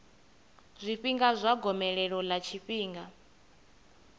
zwifhinga zwa gomelelo ḽa tshifhinga